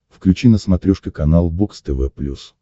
включи на смотрешке канал бокс тв плюс